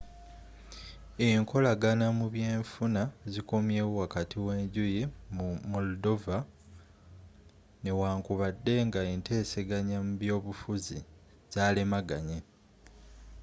enkolagana mu by'enfuna zikomyewo wakati w;enjuyi mu moldova newankubadde nga enteseganya mu by’abobufuzzi zalemaganye